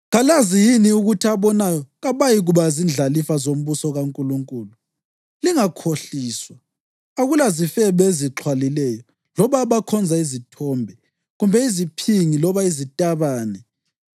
Kalazi yini ukuthi abonayo kabayikuba zindlalifa zombuso kaNkulunkulu? Lingakhohliswa. Akulazifebe ezixhwalileyo loba abakhonza izithombe kumbe iziphingi loba izitabane